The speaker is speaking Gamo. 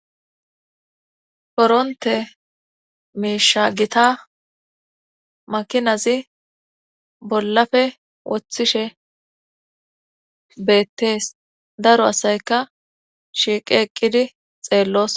koronte miisha gita makinazi bollafe woththishe beettees. daro asayka shiiqe eqqidi xeellos.